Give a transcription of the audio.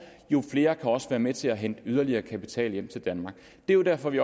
jo flere kan også være med til at hente yderligere kapital hjem til danmark det er derfor vi